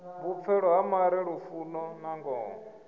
vhupfelo ha mare lufuno nangoho